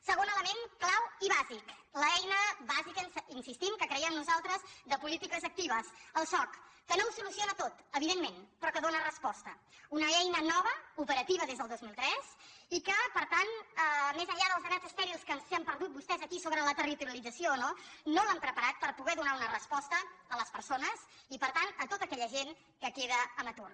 segon element clau i bàsic l’eina bàsica hi insistim que creiem nosaltres de polítiques actives el soc que no ho soluciona tot evidentment però que dóna res·posta una eina nova operativa des del dos mil tres i que per tant més enllà dels debats estèrils que s’hi han perdut vostès aquí sobre la territorialització o no no l’han preparat per poder donar una resposta a les persones i per tant a tota aquella gent que queda en atur